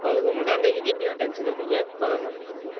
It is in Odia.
ହଉ ହଉ ମୁଁ ତାକୁ ନେଇକି ଯିବି ଆଉ tension ନିଅନି ତମେ କର marketing କର।